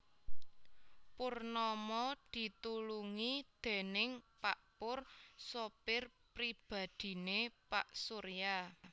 Purnama ditulungi déning pak Pur sopir pribadhiné pak Surya